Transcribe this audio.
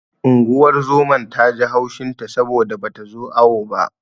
Unguwar zoman ta ji haushin ta saboda bata zo awo ba.